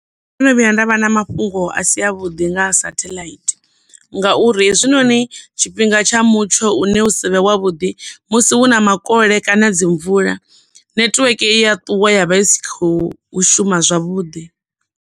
ndono vhuya nda vha na mafhungo a si a vhuḓi nga sathaḽaithi ngauri hezwinoni tshifhinga tsha mutsho une u savhe wavhuḓi musi hu na makole kana dzi mvula network i ya ṱuwa ya vha i si khou shuma zwavhuḓi.